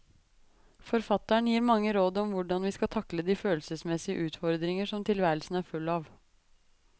Forfatteren gir mange råd om hvordan vi skal takle de følelsesmessige utfordringer som tilværelsen er full av.